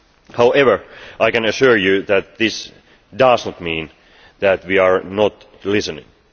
However, I can assure you that this does not mean that we are not listening.